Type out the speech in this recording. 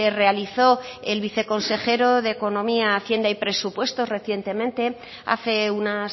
realizó el viceconsejero de economía hacienda y presupuestos recientemente hace una